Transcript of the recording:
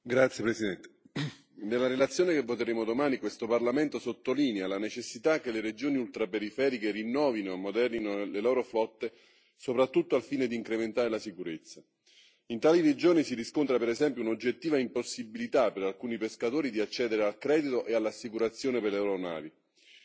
Signor Presidente, onorevoli colleghi, nella relazione che voteremo domani questo Parlamento sottolinea la necessità che le regioni ultraperiferiche rinnovino e ammodernino le loro flotte, soprattutto al fine di incrementare la sicurezza. In tali regioni si riscontra per esempio un'oggettiva impossibilità per alcuni pescatori di accedere al credito e all'assicurazione per le loro navi.